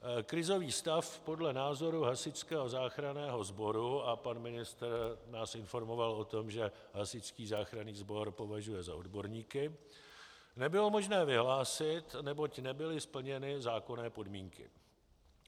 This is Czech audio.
Krizový stav podle názoru Hasičského záchranného sboru, a pan ministr nás informoval o tom, že Hasičský záchranný sbor považuje za odborníky, nebylo možné vyhlásit, neboť nebyly splněny zákonné podmínky.